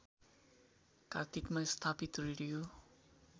कार्तिकमा स्थापित रेडियो